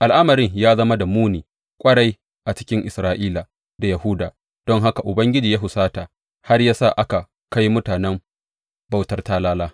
Al’amarin ya zama da muni ƙwarai a cikin Isra’ila da Yahuda, don haka Ubangiji ya husata har ya sa aka kai mutanen bautar talala.